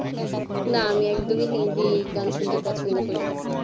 না আমি একদমই হিন্দি গান শুনতে পছন্দ করি না